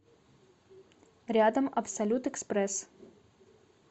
рядом абсолют экспресс